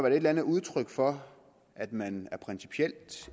et eller andet udtryk for at man principielt